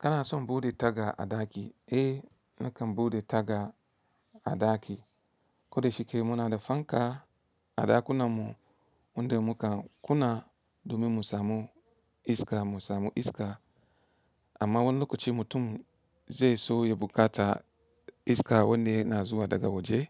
Kana son bude taga a ɗaki? Eh nakan bude taga a ɗaki. Koda shike muna da fanka a ɗakunanmu wanda muka kuna domin mu samu iska mu samu iska. Amma wani lokaci mutum zai so ya bukata iska wanda yana zuwa daga waje